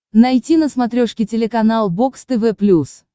найти на смотрешке телеканал бокс тв плюс